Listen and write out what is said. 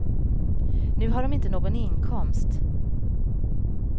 Nu har de inte någon inkomst.